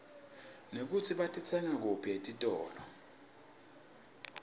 nekutsi batitsenga kuphi etitolo